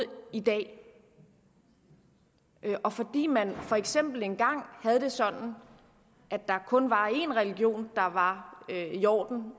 i dag og fordi man for eksempel engang havde det sådan at der kun var en religion der var i orden